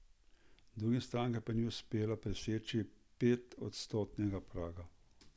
Drugim strankam pa ni uspelo preseči petodstotnega praga.